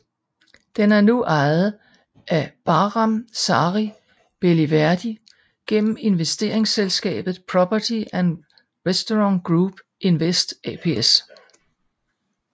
Den er nu ejet af Bahram Sari Beliverdi gennem investeringsselskabet Property And Restaurant Group Invest ApS